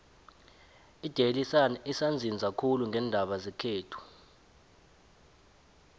idaily sun isanzisa khulu ngeendaba zekhethu